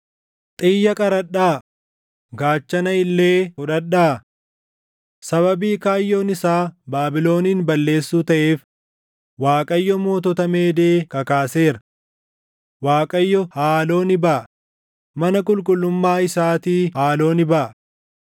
“Xiyya qaradhaa; gaachana illee fudhadhaa! Sababii kaayyoon isaa Baabilonin balleessuu taʼeef Waaqayyo mootota Meedee kakaaseera. Waaqayyo haaloo ni baʼa; mana qulqullummaa isaatii haaloo ni baʼa.